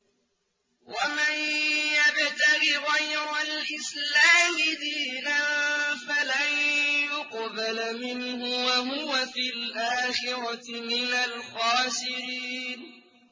وَمَن يَبْتَغِ غَيْرَ الْإِسْلَامِ دِينًا فَلَن يُقْبَلَ مِنْهُ وَهُوَ فِي الْآخِرَةِ مِنَ الْخَاسِرِينَ